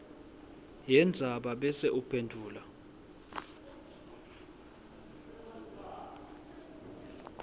yendzaba bese uphendvula